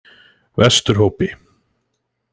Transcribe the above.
Vesturhópi